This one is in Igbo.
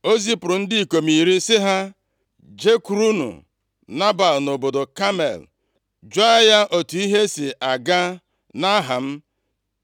o zipụrụ ndị ikom iri sị ha. “Jekwurunụ Nebal nʼobodo Kamel, jụọ ya otu ihe si aga nʼaha m.